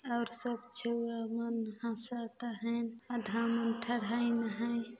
--और सब छउवा मन हसत है है।